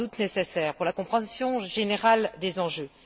sont sans doute nécessaires pour la compréhension générale des enjeux.